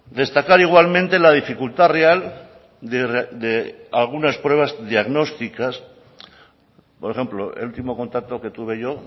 destacar igualmente la dificultad real de algunas pruebas diagnósticas por ejemplo el último contacto que tuve yo